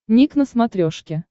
ник на смотрешке